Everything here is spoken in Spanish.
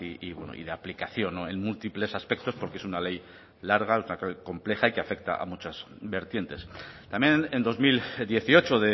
y bueno y de aplicación en múltiples aspectos porque es una ley larga una ley compleja y que afecta a muchas vertientes también en dos mil dieciocho